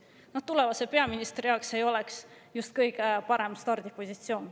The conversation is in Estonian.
No tulevase peaministri jaoks ei oleks see just kõige parem stardipositsioon.